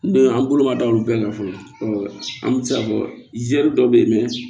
Don an bolo ma da olu bɛɛ kan fɔlɔ an bɛ se k'a fɔ dɔ bɛ yen